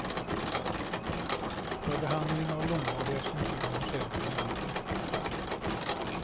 För behandling av långvariga symtom hos äldre människor.